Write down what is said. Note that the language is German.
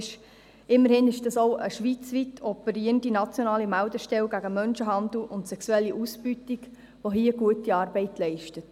Immerhin handelt es sich um eine schweizweit operierende, nationale Meldestelle gegen Menschenhandel und sexuelle Ausbeutung, welche hier gute Arbeit leistet.